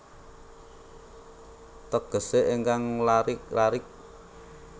Tegesé ingkang larik larik